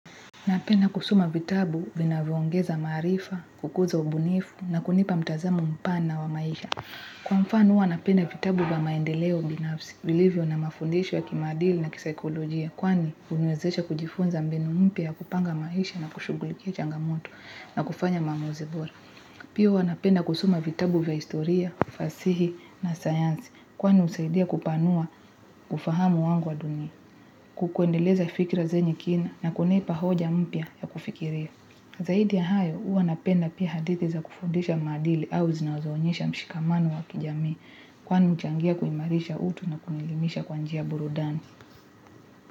Napenda kusoma vitabu vinavyoongeza maarifa, kukuza ubunifu na kunipa mtazamo mpana wa maisha. Kwa mfano huwa napenda vitabu vya maendeleo binafsi, vilivyo na mafundisho ya kimaadili na kisaikolojia, kwani huniwezesha kujifunza mbinu mpya ya kupanga maisha na kushughulikia changamoto na kufanya maamuzi bora. Pia huwa napenda kusoma vitabu vya historia, fasihi na sayansi, kwani husaidia kupanua ufahamu wangu wa dunia, kuendeleza fikira zenye kina na kunipa hoja mpya ya kufikiria. Zaidi ya hayo huwa napenda pia hadithi za kufundisha maadili au zinazoonyesha mshikamano wa kijamii, kwani huchangia kuimarisha utu na kunielimisha kwa njia ya burudani.